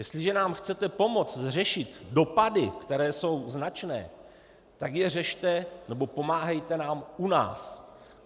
Jestliže nám chcete pomoct řešit dopady, které jsou značné, tak je řešte, nebo pomáhejte nám u nás.